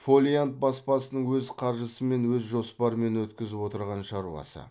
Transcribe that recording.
фолиант баспасының өз қаржысымен өз жоспарымен өткізіп отырған шаруасы